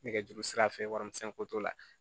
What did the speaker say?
Nɛgɛjurusira fɛ warimisɛn ko t'o la